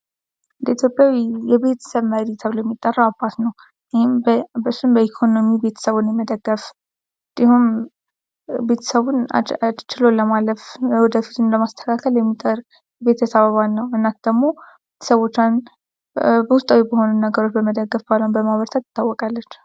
በኢትዮጵያ የቤተሰብ መሪ ተብሎ የሚጠራው አባት ነው ።ይህም እሱም በኢኮኖሚ ቤተሰቡን በመደገፍ እንዲሁም ቤተሰቡን ችሎ ለማለፍ የወደፊቱን ለማስተካከል የሚጥር ቤተሰብ አባል ነው ። እናት ደግሞ ቤተሰቦቿን በውስጣዊ በሆነ ነገር በመደገፍ ባሏን በማበርታት ትታወቃለች ።